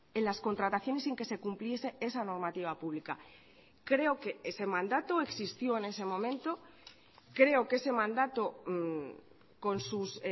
en las contrataciones sin que se cumpliese esa normativa pública creo que ese mandato existió en ese momento creo que ese mandato con sus